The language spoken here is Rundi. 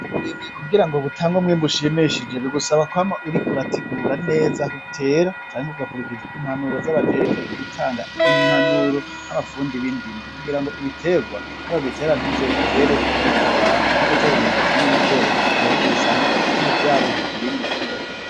Uburimyi kugira ngo butange umwimbu ushimishije bigusaba kwama uriko urategura neza hutera canke kugakurikiza impanuro z'abajejwe gutanga impanuro n'amapfundi b'indimo kugira ngo ibitegwa nibabitera ntuzobitere bitabana nko gutera imyumbati n'ibigori urarige usanga bimwe vyabujije ibindi gukura.